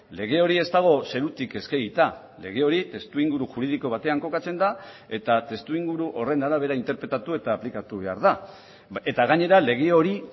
lege hori ez dago zerutik eskegita lege hori testuinguru juridiko batean kokatzen da eta testuinguru horren arabera interpretatu eta aplikatu behar da eta gainera lege hori